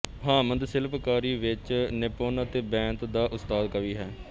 ਹਾਮਦ ਸ਼ਿਲਪਕਾਰੀ ਵਿੱਚ ਨਿਪੁੰਨ ਅਤੇ ਬੈਂਤ ਦਾ ਉਸਤਾਦ ਕਵੀ ਹੈ